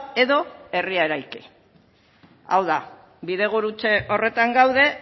edo herria eraiki hau da bidegurutze horretan gaude